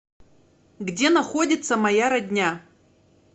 где находится моя родня